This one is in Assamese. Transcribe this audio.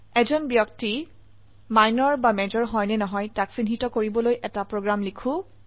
এজন ব্যক্তি মাইনৰ বা মেজৰ হয় নে নহয় তাক চিহ্নিত কৰিবলৈ এটি প্ৰোগ্ৰাম লিখো